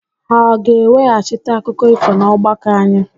Ha ọ ga-eweghachite akụkọ ifo n'ọgbakọ anyị?